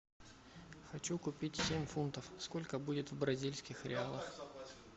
хочу купить семь фунтов сколько будет в бразильских реалах